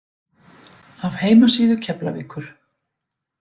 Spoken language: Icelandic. Af heimasíðu Keflavíkur